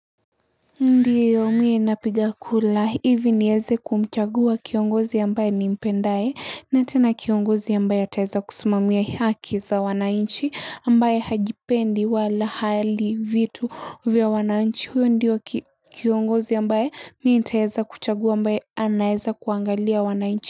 Ndiyo mii napiga kura hivi nieze kumchagua kiongozi ambaye ni mpendaye na tena kiongozi ambaye ataweza kusimamia haki za wananchi ambaye hajipendi wala hali vitu vya wananchi huyo ndiyo kiongozi ambae mii nitaeza kuchagua ambaye anaeza kuangalia wanainchi.